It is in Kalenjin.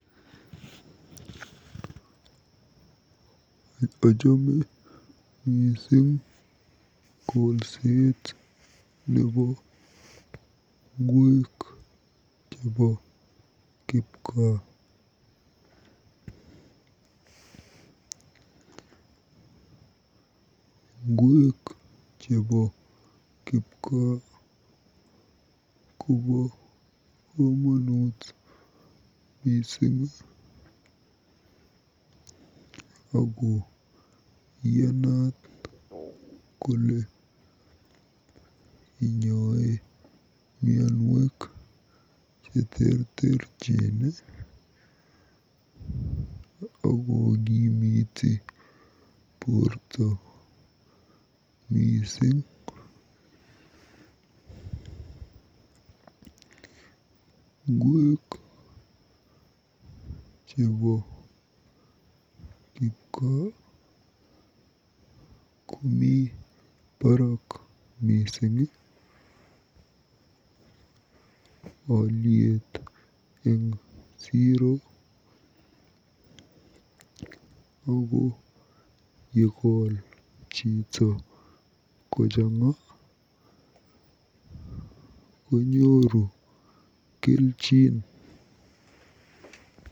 Ochome miising kolset nebo ngweek chebo kipgaa. Ngwek chebo kipgaa kobo komonut mising ako iyanat kole inyoe mianwek cheterterchin akokimiti borto mising. Ngwek chebo kipgaa komi barrak mising olyet eng siro ako yekol chito kochang'a konyoru kelchin.